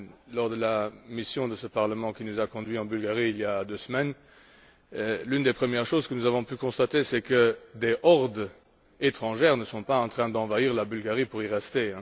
Lors de la mission de ce Parlement qui nous a conduits en Bulgarie, il y a deux semaines, l'une des premières choses que nous avons pu constater, c'est que des hordes étrangères ne sont pas en train d'envahir la Bulgarie pour y rester.